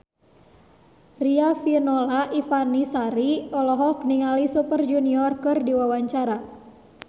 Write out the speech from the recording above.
Riafinola Ifani Sari olohok ningali Super Junior keur diwawancara